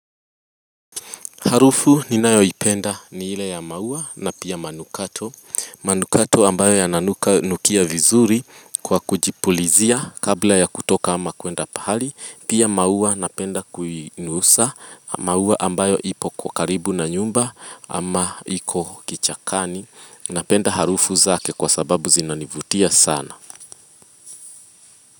Harufu ninayo ipenda ni ile ya maua na pia manukato manukato ambayo yananuka nukia vizuri kwa kujipulizia kabla ya kutoka ama kuenda pahali. Pia maua napenda kuinusa maua ambayo ipo kwa karibu na nyumba ama iko kichakani Napenda harufu zake kwa sababu zinanivutia sana.